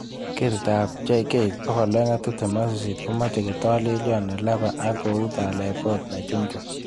Ketitab JK228 komoche kotolelion nelaba ak kou telebot nechuchum.